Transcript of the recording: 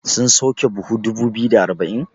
sun sauke buhu dubu biyu da arba'in?